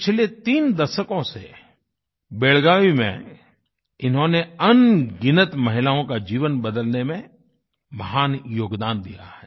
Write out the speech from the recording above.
पिछले तीन दशकों से बेलागवी बेलागावी में इन्होंने अनगिनत महिलाओं का जीवन बदलने में महान योगदान दिया है